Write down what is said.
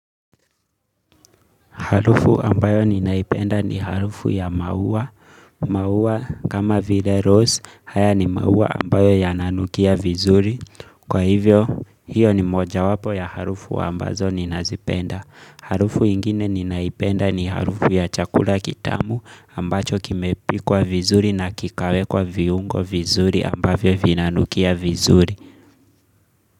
Harufu ambayo ninaipenda ni harufu ya maua. Maua kama vile rose haya ni maua ambayo yananukia vizuri. Kwa hivyo hiyo ni moja wapo ya harufu ambazo ninazipenda. Harufu ingine ninaipenda ni harufu ya chakula kitamu ambacho kimepikwa vizuri na kikawekwa viungo vizuri ambavyo vina nukia vizuri.